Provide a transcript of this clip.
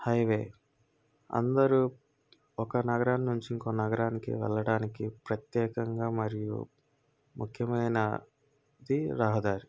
Highway అందరూ ఒక నగరం నుంచి ఇంకో నగరానికి వెళ్ళడానికి ప్రత్యేకంగా మరియ ముఖ్యమైన ది రహదారి.